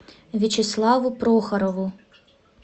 вячеславу прохорову